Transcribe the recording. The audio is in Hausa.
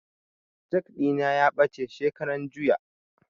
Jak ɗina ya ɓace shekaran juya